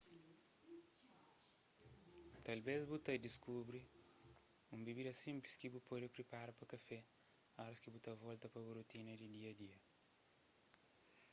talves bu ta diskubri un bibida sinplis ki bu pode pripara pa kafé óras ki bu volta pa bu rutina di dia-a-dia